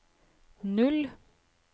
null